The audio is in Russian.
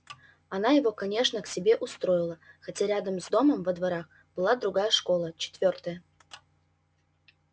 она его конечно к себе устроила хотя рядом с домом во дворах была другая школа четвёртая